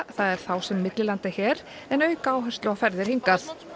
það er þá sem millilenda hér en auka áherslu á ferðir hingað